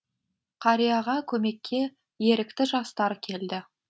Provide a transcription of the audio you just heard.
қарияға көмекке ерікті жастар келді